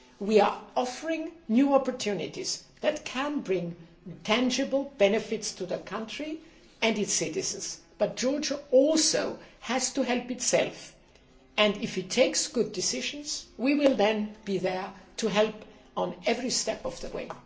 times. We are offering new opportunities that can bring tangible benefits to the country and its citizens, but Georgia also has to help itself, and, if it takes good decisions, we will then be there to help every step of the way.